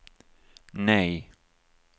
nej